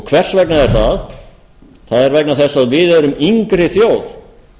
hvers vegna er það það er vegna þess að við erum yngri þjóð